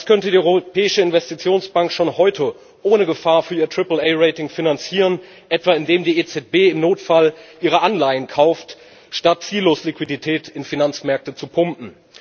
Das könnte die Europäische Investitionsbank schon heute ohne Gefahr für ihr Triple A Rating finanzieren, etwa indem die EZB im Notfall ihre Anleihen kauft, statt ziellos Liquidität in Finanzmärkte zu pumpen.